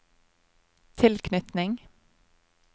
tilknytning